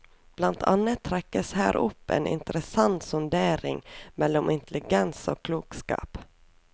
Blant annet trekkes her opp en interessant sondering mellom intelligens og klokskap.